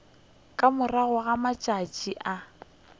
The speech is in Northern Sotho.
ka morago ga matšatši a